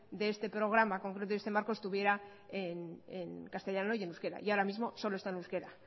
de este programa concreto y este marco estuviera en castellano y en euskera y ahora mismo solo está en euskera